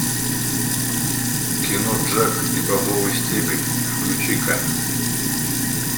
кино джек и бобовый стебель включи ка